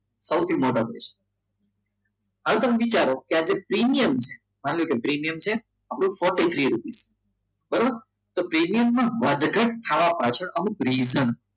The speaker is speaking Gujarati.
તો સૌથી મોટો પ્રશ્ન હવે તમે વિચારો કે પ્રીમિયમ છે forty three rupees બરાબર તો પ્રીમિયમમાં વધઘટ થવા પાછળ અમુક reason